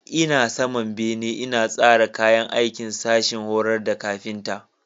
Ina saman bene ina tsara kayan aikin sashin horar da kafinta.